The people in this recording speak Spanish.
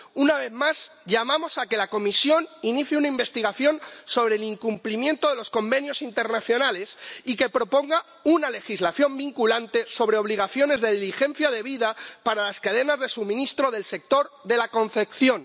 Una vez más, llamamos a que la Comisión inicie una investigación sobre el incumplimiento de los convenios internacionales y que proponga una legislación vinculante sobre obligaciones de diligencia debida para las cadenas de suministro del sector de la confección.